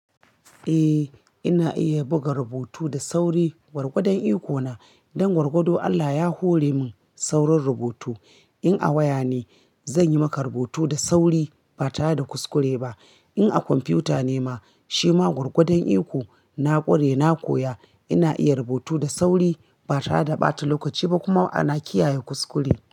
Eh ina iya buga rubutu da sauri gwargwadon iko na. Don gwargwado Allah ya hore min saurin rubutu. In a waya ne zan yi maka rubutu da sauri ba tare da kuskure ba. In a kwamfuta ne ma shi ma gwargwadon iko na ƙware na koya ina iya rubutu da sauri ba tare da ɓata lokaci ba kuma ana kiyaye kuskure.